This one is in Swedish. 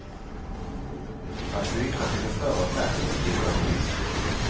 Att byta till en större skärm blir dock dyrt.